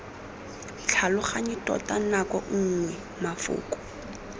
tlhaloganye tota nako nngwe mafoko